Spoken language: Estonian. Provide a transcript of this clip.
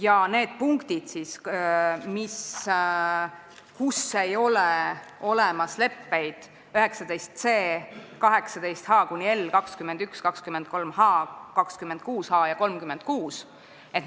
Ja need punktid, mille kohta ei ole leppeid olemas, on 19c, 18h–18l, 21, 23h, 26h ja 36.